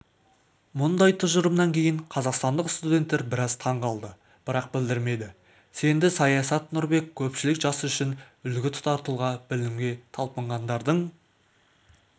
мұндай тұжырымнан кейін қазақстандық студенттер біраз таң қалды бірақ білдірмеді сенді саясат нұрбек көпшілік жас үшін үлгі тұтар тұлға білімге талпынғандардың